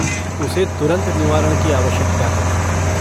उसे तुरंत निवारण की आवश्यकता है।